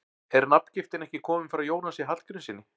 Er nafngiftin ekki komin frá Jónasi Hallgrímssyni?